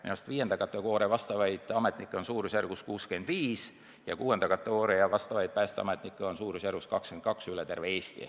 Minu arust 5. taseme kutsetunnistusega ametnikke on umbes 65 ja 6. taseme kutsetunnistusega päästeametnikke 22 üle terve Eesti.